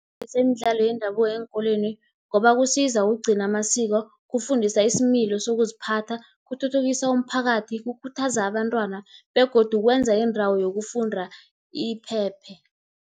Bese imidlalo yendabuko eenkolweni, ngoba kusiza ukugcina amasiko, kufundisa isimilo sokuziphatha. Kuthuthukisa umphakathi, kukhuthaza abantwana begodu kwenza indawo yokufunda iphephe.